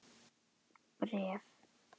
Bréf?